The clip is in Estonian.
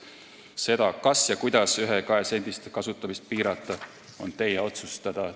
See, kas ja kuidas ühe- ja kahesendiste kasutamist piirata, on teie otsustada.